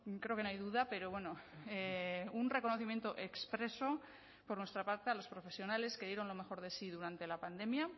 creo que no hay duda pero bueno un reconocimiento expreso por nuestra parte a los profesionales que dieron lo mejor de sí durante la pandemia